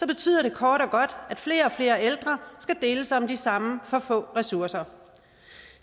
betyder det kort og godt at flere og flere ældre skal deles om de samme for få ressourcer